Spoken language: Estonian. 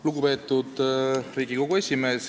Lugupeetud Riigikogu esimees!